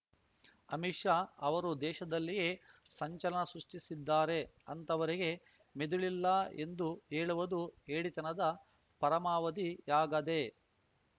ಅಮಿತ್‌ ಶಾ ಅವರು ದೇಶದಲ್ಲಿಯೇ ಸಂಚಲನ ಸೃಷ್ಟಿಸಿದ್ದಾರೆ ಅಂಥವರಿಗೆ ಮೆದುಳಿಲ್ಲ ಎಂದು ಹೇಳುವುದು ಹೇಡಿತನದ ಪರಮಾವಧಿಯಾಗದೆ